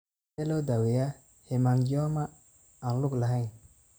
Sidee loo daweeyaa hemangioma aan ku lug lahayn?